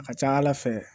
A ka ca ala fɛ